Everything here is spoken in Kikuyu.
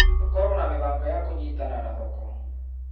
Tũkorwo na mĩbango ya kũnyitana na thoko.